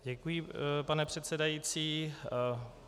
Děkuji, pane předsedající.